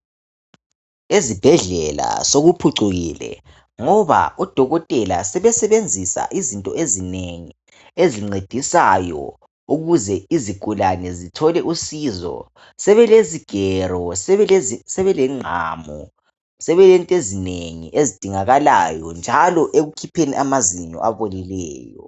Ezibhedlela sokuphucukile ngoba odokela sebesebenzisa izinto ezinengi ezincedisayo ukuze izigulane zithole usizo, sebeĺezigero sebelezingqamu sebelezinto ezinengi ezidingakalayo njalo ekukhipheni amazinyo abolileyo.